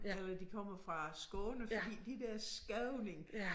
Eller de kommer fra Skåne fordi de der skåninge